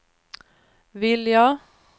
vilja